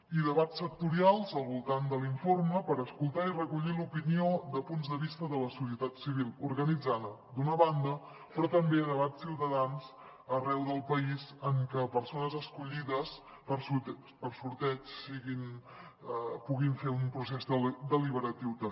i debats sectorials al voltant de l’informe per escoltar i recollir l’opinió de punts de vista de la societat civil organitzada d’una banda però també debats ciutadans arreu del país en què persones escollides per sorteig puguin fer un procés deliberatiu també